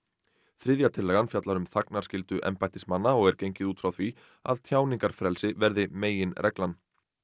þriðja tillagan fjallar um þagnarskyldu embættismanna og er gengið út frá því að tjáningarfrelsi verði meginreglan